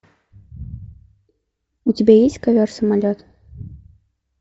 у тебя есть ковер самолет